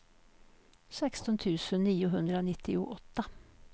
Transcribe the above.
sexton tusen niohundranittioåtta